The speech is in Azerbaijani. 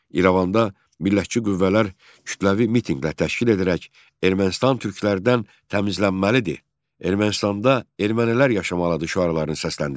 İrəvanda millətçi qüvvələr kütləvi mitinqlər təşkil edərək, Ermənistan türklərdən təmizlənməlidir, Ermənistanda ermənilər yaşamalıdır şüarlarını səsləndirdilər.